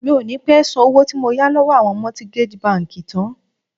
Mi ò ní pé san owó tí mo yà lọ́wọ́ àwọn mortgage bank tán.